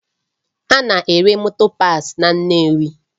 A na-ere motor parts na Nnewi